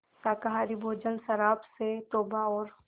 शाकाहारी भोजन शराब से तौबा और